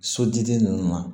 Sotigi ninnu na